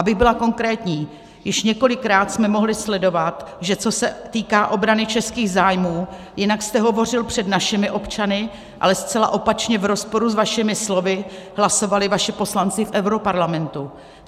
Abych byla konkrétní, již několikrát jsme mohli sledovat, že co se týká obrany českých zájmů, jinak jste hovořil před našimi občany, ale zcela opačně, v rozporu s vašimi slovy, hlasovali vaši poslanci v europarlamentu.